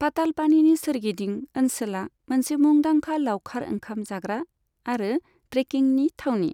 पातालपानीनि सोरगिदिं ओनसोला मोनसे मुंदांखा लाउखार ओंखाम जाग्रा आरो ट्रेकिंनि थावनि।